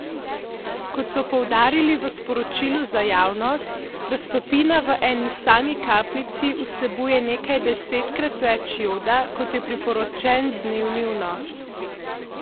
Kot so poudarili v sporočilu za javnost, raztopina v eni sami kapljici vsebuje nekaj desetkrat več joda, kot je priporočen dnevni vnos.